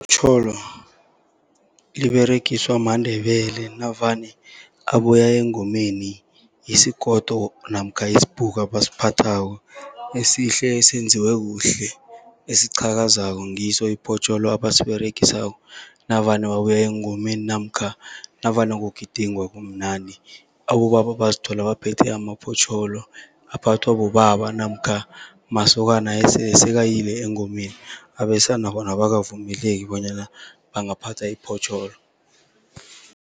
Itjholo liberegiswa maNdebele navane abuya engomeni, yisigodo namkha yisibhuku abasiphathako esihle esenziwe kuhle, esiqhakazako ngiso ibhotjholo abasiberegisako navane babuya engomeni. Namkha navane kugidingwa kumnandi abobaba bazithola baphethe amabhotjholo aphathwa bobaba namkha masokana esekayile engomeni, abesana bona abakavumeleki bonyana bangaphatha ibhotjholo.